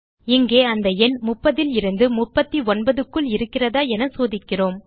இங்கே அந்த எண் 30லிருந்து 39க்கு இருக்கிறதா என சோதிக்கிறோம்